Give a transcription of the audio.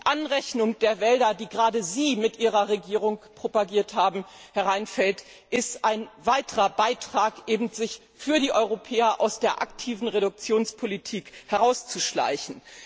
Die Anrechnung der Wälder, die gerade Sie mit Ihrer Regierung propagiert haben, Herr Reinfeldt, ist ein weiterer Beitrag der Europäer, sich aus der aktiven Reduktionspolitik herauszuschleichen.